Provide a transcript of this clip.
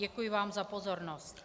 Děkuji vám za pozornost.